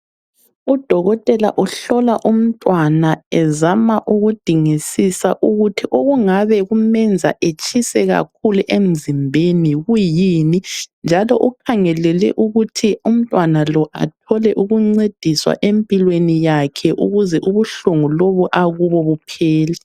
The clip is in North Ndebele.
Udokotela uhlola umntwana ezama ukudingisisa ukuthi okungabe kumenza etshise kakhulu emzimbeni kuyini, njalo ukhangelele ukuthi umntwana lo athole ukuncediswa empilweni yakhe ukuze ubuhlungu lobu akubo buphele.